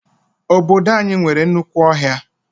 Obodo anyị nwere nnukwu ọhịa.